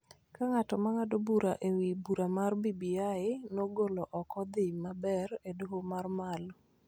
ka ng�at ma ng�ado bura e wi bura mar BBI nogolo ok odhi maber e Doho ma malo.